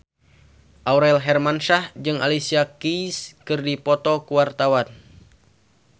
Aurel Hermansyah jeung Alicia Keys keur dipoto ku wartawan